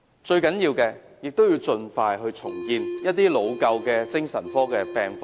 最重要的是盡快重建老舊的精神科醫院及病房。